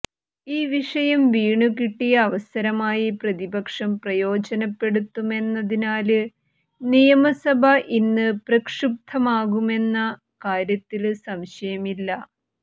ഈ വിഷയം വീണുകിട്ടിയ അവസരമായി പ്രതിപക്ഷം പ്രയോജനപ്പെടുത്തുമെന്നതിനാല് നിയമസഭ ഇന്ന് പ്രക്ഷുബ്ധമാകുമെന്ന കാര്യത്തില് സംശയമില്ല